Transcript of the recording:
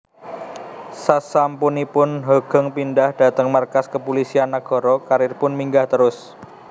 Sasampunipun Hoegeng pindhah dhateng markas Kepulisian Nagara karieripun minggah terus